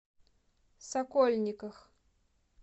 сокольниках